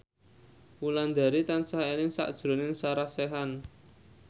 Wulandari tansah eling sakjroning Sarah Sechan